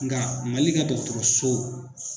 Nka MALI ka dɔgɔtɔrɔso.